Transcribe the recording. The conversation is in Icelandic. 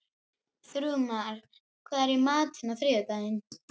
Þrúðmar, hvað er í matinn á þriðjudaginn?